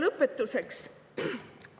Lõpetuseks.